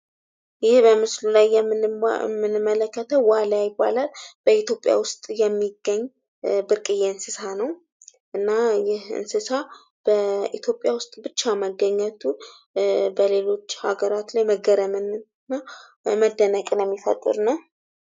ይሄ በምስሉ ላይ የምንመለከተዉ ዋልያ ይባላል። በኢትዮጵያ ዉስጥ የሚገኝ ብርቅየ እንስሳ ነዉ። እና ይህ እንስሳ በኢትዮጵያ ዉስጥ ብቻ መገኘቱ በሌሎች አገራት ላይ መገረምን እና መደነቅን የሚፈጥር ነዉ።